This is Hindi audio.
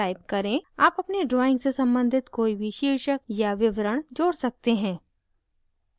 आप अपनी drawing से सम्बंधित कोई भी शीर्षक या विवरण जोड़ सकते हैं